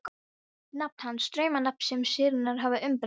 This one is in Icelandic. Nafn hans: draumnafn sem sýnirnar hafa umbreytt.